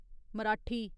Marathi